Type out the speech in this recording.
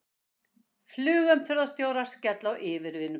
Flugumferðarstjórar skella á yfirvinnubanni